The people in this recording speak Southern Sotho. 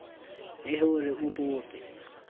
le ho re o bope